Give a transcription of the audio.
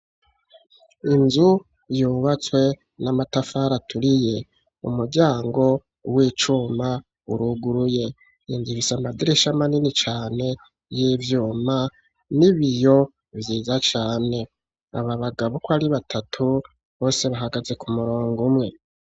Inzu yubatswe n'amatafari aturiye, umuryango w'icuma uruguruye, yinzirise amadirish amanini cane y'ibyuma n'ibiyo byiza cane, aba bagabo ko ari batatu bose bahagaze ku murongo umwe.